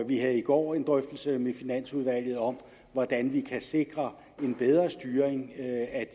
vi havde i går en drøftelse med finansudvalget om hvordan vi kan sikre en bedre styring af